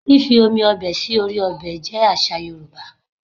Fífi omi ọbẹ̀ sí orí ọbẹ̀ jẹ́ àṣà Yorùbá